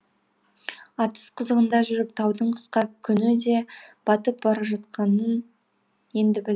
атыс қызығында жүріп таудың қысқа күні де батып бара жатқанын енді білдік